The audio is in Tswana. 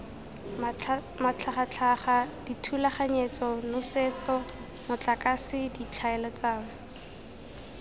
matlhagatlhaga dithulaganyetso nosetso motlakase ditlhaeletsano